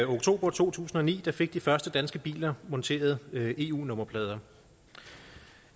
oktober to tusind og ni fik de første danske biler monteret eu nummerplader